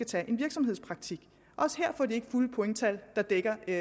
tage en virksomhedspraktik også her får de ikke fulde pointtal der dækker et